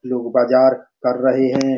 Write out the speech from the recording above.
लोग बाजार कर रहे है।